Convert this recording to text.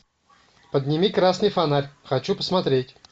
подними красный фонарь хочу посмотреть